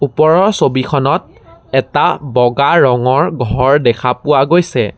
ওপৰৰ ছবিখনত এটা বগা ৰঙৰ ঘৰ দেখা পোৱা গৈছে।